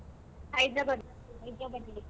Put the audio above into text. Hyderabad .